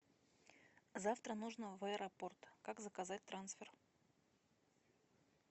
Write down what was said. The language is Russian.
завтра нужно в аэропорт как заказать трансфер